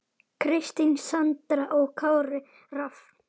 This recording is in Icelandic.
Kristín Sandra og Kári Rafn.